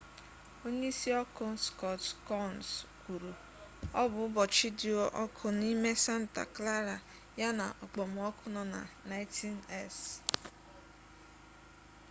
onyeisi ọkụ scott kouns kwuru ọ bụ ụbọchị dị ọkụ n'ime santa clara ya na okpomọkụ nọ na 90s